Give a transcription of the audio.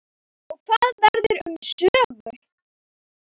Og hvað verður um Sögu?